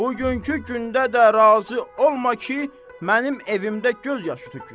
Bugünkü gündə də razı olma ki, mənim evimdə göz yaşı tökülsün.